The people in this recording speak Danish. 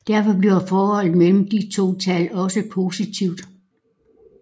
Derfor bliver forholdet mellem de to tal også positivt